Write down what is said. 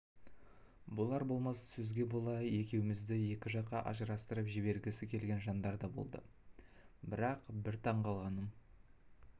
болар-болмас сөзге бола екеумізді екі жаққа ажырастырып жібергісі келген жандар да болды бірақ бір таңғалғаным